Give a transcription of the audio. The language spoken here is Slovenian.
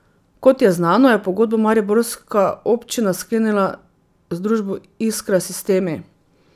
Kot je znano, je pogodbo mariborska občina sklenila z družbo Iskra Sistemi.